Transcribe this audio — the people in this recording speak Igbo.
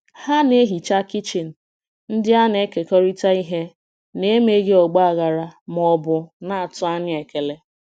Ha na-ehicha kichin ndị a na-ekekọrịta ihe n'emeghị ọgba aghara ma ọ bụ na-atụ anya ekele.